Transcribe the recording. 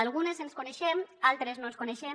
algunes ens coneixem altres no ens coneixem